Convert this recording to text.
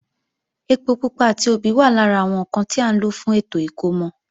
Ẹpo pupa àti obì wà lára àwọn ǹkan tí à ń lò fún ètò ìkómọ